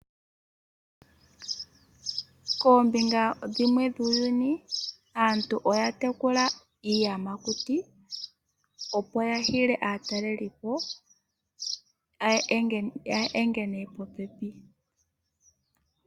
Koombinga dhimwe dhuuyuni, aantu oya tekula iiyamakuti, opo yahile aatalelipo, ya engene popepi.